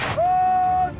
Ateş!